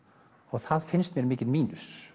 það finnst mér mikill mínus